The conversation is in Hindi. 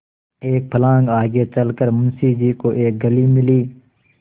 एक फर्लांग आगे चल कर मुंशी जी को एक गली मिली